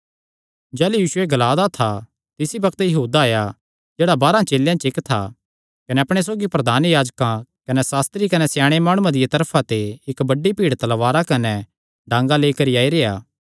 यीशु एह़ ग्ला दा था कि यहूदा जेह्ड़ा बारांह चेलेयां च इक्क था आया कने अपणे सौगी प्रधान याजकां कने सास्त्री कने स्याणे माणुआं दिया तरफा ते इक्क बड्डी भीड़ तलवारां कने डांगा लेई करी आई रेई